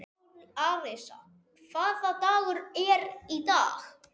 Arisa, hvaða dagur er í dag?